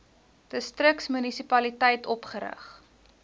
distriks munisipaliteit opgerig